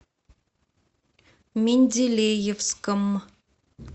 менделеевском